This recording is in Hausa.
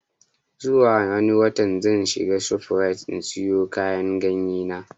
Zuwa wani watan zan je shof rite in siyo kayan ganye na